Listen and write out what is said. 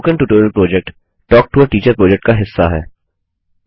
spoken tutorial project talk to a teacher project का हिस्सा है